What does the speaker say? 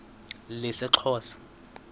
lesixhosa